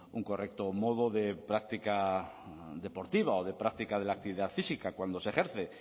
un correcto modo de práctica deportiva o de práctica de la actividad física cuando se ejerce